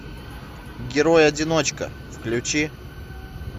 герой одиночка включи